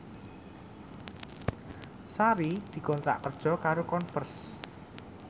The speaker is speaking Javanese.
Sari dikontrak kerja karo Converse